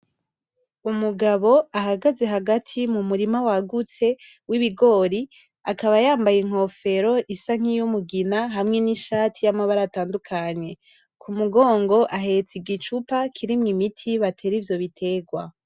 Umugabo ahagaze hagati mumurima wagutse w'ibigori, akaba yambaye inkofero isa n'umugina hamwe nishati yamabara atandukanye. Kumugongo ahetse igicupa kirimwo imiti batera ivyo biterwa.